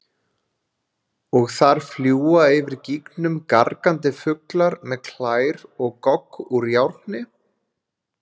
Og þar fljúga yfir gígnum gargandi fuglar með klær og gogg úr járni?